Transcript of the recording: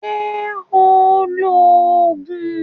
Ṣé ò ń lo Ògùn?